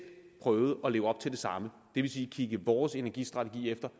prøver at leve op til det samme det vil sige kigge vores energistrategi efter